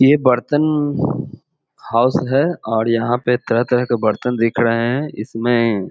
यह बर्तन हाउस है और यहाँ पर तरह-तरह के बर्तन बिक रहे है। इसमें --